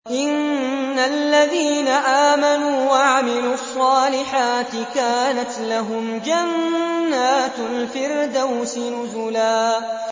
إِنَّ الَّذِينَ آمَنُوا وَعَمِلُوا الصَّالِحَاتِ كَانَتْ لَهُمْ جَنَّاتُ الْفِرْدَوْسِ نُزُلًا